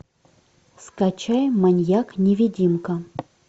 скачай маньяк невидимка